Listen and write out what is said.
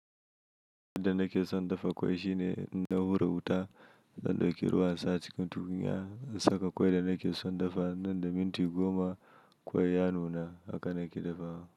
Da nake son dafa kwai shine ina hura wuta, zan ɗauki ruwa saa cikin tukunya, in saka kwai da nake son dafa nan da minti goma kwai ya nuna haka nake dafawa.